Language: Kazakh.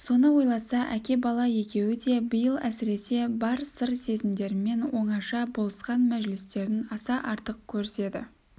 соны ойласа әке бала екеуі де биыл әсіресе бар сыр сезімдерімен оңаша болысқан мәжілістерін аса артық көріседі